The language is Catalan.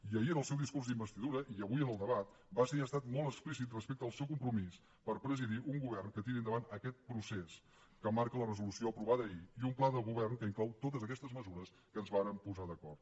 i ahir en el seu discurs d’investidura i avui en el debat va ser i ha estat molt explícit respecte al seu compromís per presidir un govern que tiri endavant aquest procés que marca la resolució aprovada ahir i un pla de govern que inclou totes aquestes mesures amb què ens vàrem posar d’acord